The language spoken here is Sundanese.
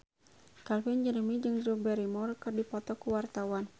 Calvin Jeremy jeung Drew Barrymore keur dipoto ku wartawan